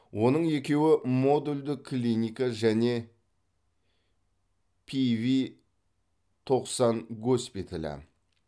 оның екеуі модульдік клиника және рв тоқсан госпиталі